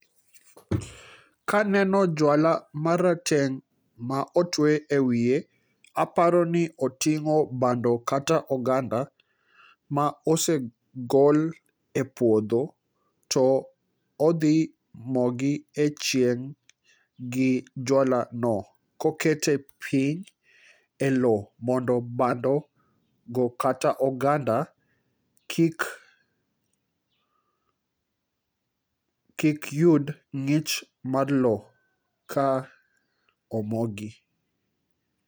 kaneno jwala marateng ma otwe e wiye aparo ni otingo bando kata oganda ma osegol e puodho to odhi mogi e chieng gi jwala no kokete piny e lo mondo bando go kata oganda kik yud ng'ich mar lo ka omogi